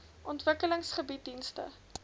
ontwikkeling bied dienste